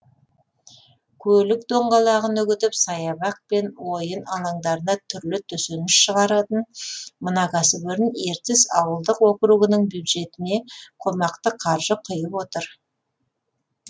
көлік доңғалағын үгітіп саябақ пен ойын алаңдарына түрлі төсеніш шығаратын мына кәсіпорын ертіс ауылдық округінің бюджетіне қомақты қаржы құйып отыр